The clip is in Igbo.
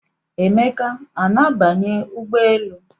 Emeka a na-abanye ụgbọelu?